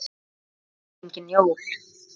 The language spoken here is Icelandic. Þetta voru engin jól.